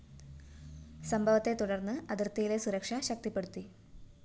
സംഭവത്തെ തുടര്‍ന്ന് അതിര്‍ത്തിയിലെ സുരക്ഷ ശക്തിപ്പെടുത്തി